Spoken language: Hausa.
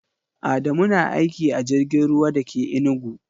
Adamu na aiki a jirgin ruwa da ke Enugu.